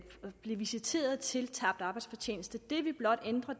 blive visiteret til tabt arbejdsfortjeneste det vi blot ændrer